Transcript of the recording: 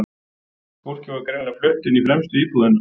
Fólkið var greinilega flutt inn í fremstu íbúðina.